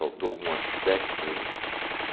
Faltou algum aspecto aí?